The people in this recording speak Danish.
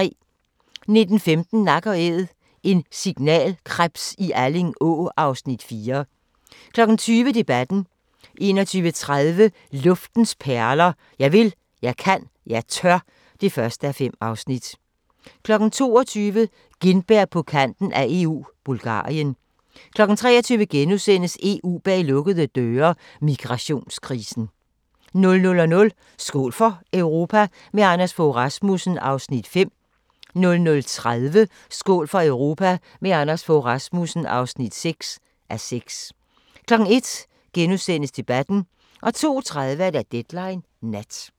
19:15: Nak & Æd – en signalkrebs i Alling Å (Afs. 4) 20:00: Debatten 21:30: Luftens perler – Jeg vil, jeg kan, jeg tør (1:5) 22:00: Gintberg på Kanten af EU – Bulgarien 23:00: EU bag lukkede døre: Migrationskrisen * 00:00: Skål for Europa – med Anders Fogh Rasmussen (5:6) 00:30: Skål for Europa – med Anders Fogh Rasmussen (6:6) 01:00: Debatten * 02:30: Deadline Nat